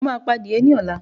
Mo máa pa adìye ní ọ̀la